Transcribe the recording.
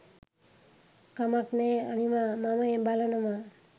කමක් නෑ අනිවා මම බලනවා